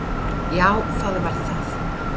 Já, það var það.